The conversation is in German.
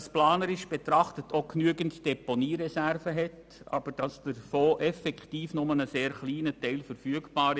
Aus planerischer Sicht gibt es auch genügend Deponiereserven, aber davon ist nur ein kleiner Teil effektiv verfügbar.